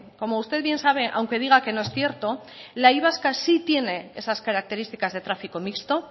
como usted bien sabe aunque diga que no es cierto la y vasca sí tiene esas características de tráfico mixto